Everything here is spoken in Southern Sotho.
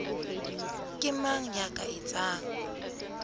ke mang ya ka etsang